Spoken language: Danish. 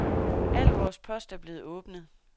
Al vores post er blev åbnet.